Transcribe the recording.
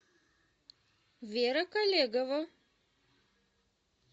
вера колегова